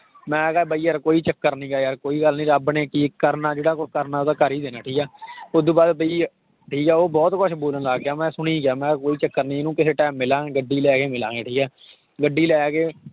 ਮੈਂ ਕਿਹਾ ਬਾਈ ਯਾਰ ਕੋਈ ਚੱਕਰ ਨੀਗਾ ਯਾਰ ਕੋਈ ਗੱਲ ਨੀ ਰੱਬ ਨੇ ਕੀ ਕਰਨਾ ਜਿਹੜਾ ਕੁਛ ਕਰਨਾ ਉਹ ਤਾਂ ਕਰ ਹੀ ਦੇਣਾ ਠੀਕ ਹੈ ਉਹ ਤੋਂ ਬਾਅਦ ਬਾਈ ਠੀਕ ਹੈ ਉਹ ਬਹੁਤ ਕੁਛ ਬੋਲਣ ਲੱਗ ਗਿਆ, ਮੈਂ ਸੁਣੀ ਗਿਆ ਮੈਂ ਕਿਹਾ ਕੋਈ ਚੱਕਰ ਨੀ ਇਹਨੂੰ ਕਿਸੇ time ਮਿਲਾਂਗੇ ਗੱਡੀ ਲੈ ਕੇ ਮਿਲਾਂਗੇ, ਠੀਕ ਹੈ ਗੱਡੀ ਲੈ ਕੇ